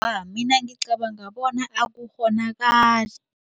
Mina ngicabanga bona akukghonakali.